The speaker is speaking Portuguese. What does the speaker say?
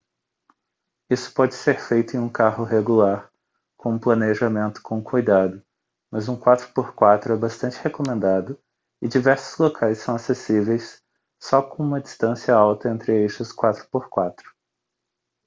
isso pode ser feito em um carro regular com um planejamento com cuidado mas um 4x4 é bastante recomendado e diversos locais são acessíveis só com uma distância alta entre eixos 4x4